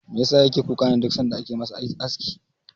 Me yasa yake kuka ne duk sanda ake masa aski?